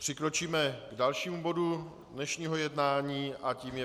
Přikročíme k dalšímu bodu dnešního jednání a tím je